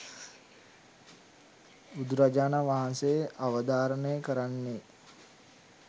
බුදුරජාණන් වහන්සේ අවධාරණය කරන්නේ